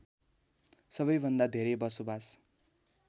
सबैभन्दा धेरै बसोबास